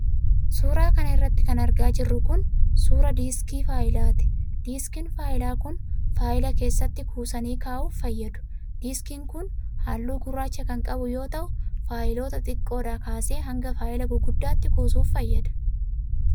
Suura kana irratti kan argaa jirru kun ,suura diiskii faayilaati. Diiskiin faayilaa kun, faayilaa keessatti kuusanii kaa'uuf fayyadu. Diiskiin kun haallluu gurraacha kan qabu yoo ta'u, faayiloota xixiqqoodhaa kaasee hanga faayila guguddaatti kuusuf fayyada.